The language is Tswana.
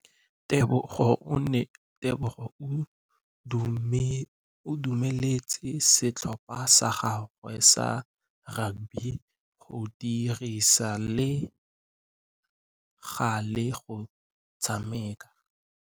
Tebogô o dumeletse setlhopha sa gagwe sa rakabi go dirisa le galê go tshameka.